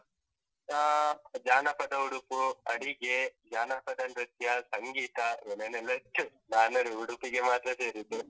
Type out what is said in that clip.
ಹಾ, ಜಾನಪದ ಉಡುಪು, ಅಡಿಗೆ, ಜಾನಪದ ನೃತ್ಯ, ಸಂಗೀತ ಏನೇನೆಲ್ಲ ಇತ್ತು. ನಾನು ಉಡುಪಿಗೆ ಮಾತ್ರ ಸೇರಿದ್ದು.